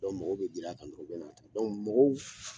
mɔgɔ bɛ giran kan dɔrɔn, u bɛna ta mɔgɔw